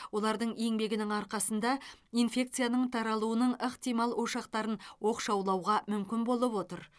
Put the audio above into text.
олардың еңбегінің арқасында инфекцияның таралуының ықтимал ошақтарын оқшаулауға мүмкін болып отыр